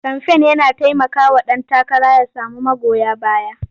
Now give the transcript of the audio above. Kamfen yana taimakawa ɗan takara ya samu magoya baya.